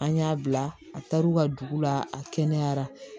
An y'a bila a taar'u ka dugu la a kɛnɛyara